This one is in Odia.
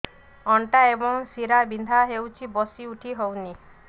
ଅଣ୍ଟା ଏବଂ ଶୀରା ବିନ୍ଧା ହେଉଛି ବସି ଉଠି ହଉନି